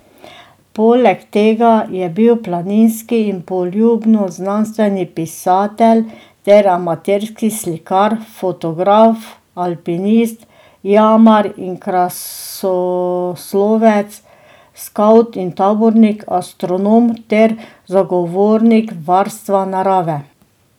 Poleg tega je bil planinski in poljudnoznanstveni pisatelj ter amaterski slikar, fotograf, alpinist, jamar in krasoslovec, skavt in tabornik, astronom ter zagovornik varstva narave.